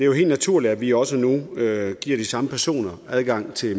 helt naturligt at vi også nu giver de samme personer adgang til